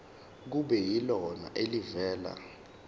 kube yilona elivela